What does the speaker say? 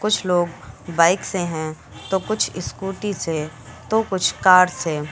कुछ लोग बाइक से हैं तो कुछ स्कूटी से तो कुछ कार से।